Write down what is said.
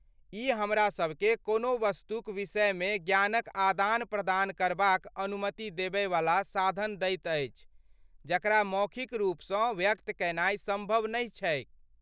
ई हमरासबकेँ कोनो वस्तुक विषयमे ज्ञानक आदान प्रदान करबाक अनुमति देबय वला साधन दैत अछि जकरा मौखिक रूपसँ व्यक्त कयनाइ सम्भव नहि छैक।